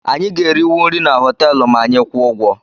Anyị ga-eriwu nri na họteelụ ma anyị kwụọ ụgwọ